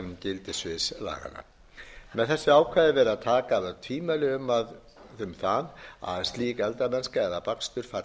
gildissviðs laganna með þessu ákvæði er verið að taka af öll tvímæli um það að slík eldamennska eða bakstur falli ekki undir opinbert